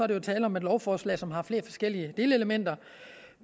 der jo tale om et lovforslag som har flere forskellige delelementer